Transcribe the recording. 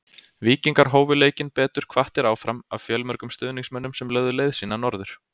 Víkingar hófu leikinn betur hvattir áfram af fjölmörgum stuðningsmönnum sem lögðu leið sína norður.